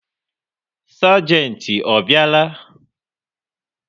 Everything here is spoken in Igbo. Sagenti ọ bịa la?